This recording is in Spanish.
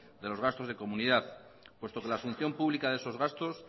de los gastos de comunidad puesto que la función pública de esos gastos